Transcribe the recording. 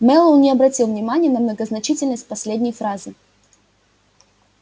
мэллоу не обратил внимания на многозначительность последней фразы